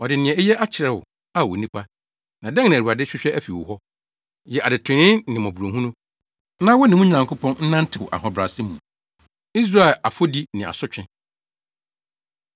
Ɔde nea eye akyerɛ wo, Ao onipa. Na dɛn na Awurade hwehwɛ afi wo hɔ? Yɛ adetrenee ne mmɔborɔhunu, na wo ne wo Nyankopɔn nnantew ahobrɛase mu. Israel Afɔdi Ne Asotwe